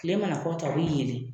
Tile mana kɔ ta o b'i yele.